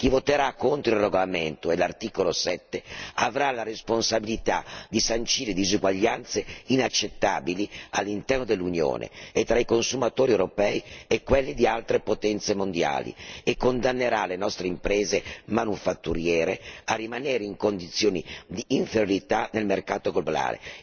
Chi voterà contro il regolamento e l'articolo 7 avrà la responsabilità di sancire diseguaglianze inaccettabili all'interno dell'Unione e tra i consumatori europei e quelli di altre potenze mondiali e condannerà le nostre imprese manufatturiere a rimanere in condizioni di inferiorità nel mercato globale.